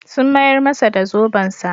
Sun mayar masa da zobensa.